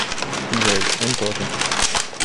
джой он тоже